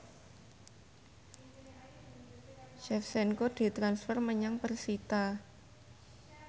Shevchenko ditransfer menyang persita